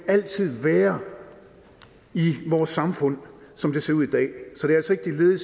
altid være i vores samfund som det ser ud i dag i